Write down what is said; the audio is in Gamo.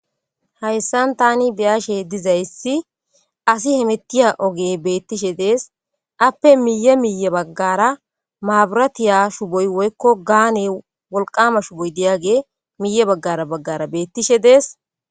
Hayssan taani be7ashe dizaysi asi hemettish diza ogey beettees,aappe miyye miyye baggara mabiraate shuboy woyikko gaane wolqaama shuboy miyye baggara baggara beettishe dees.